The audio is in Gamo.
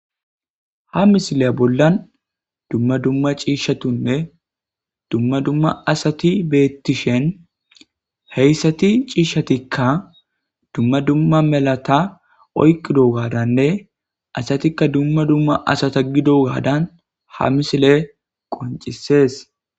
Ha misile bollan dumma dumma ciishshatunne dumma dumma asati beettishen heyssati ciishshatikka dumma dumma melata oyqqido gaadanne asatikka dumma dumma asata gido gaadan ha misile qoncisees.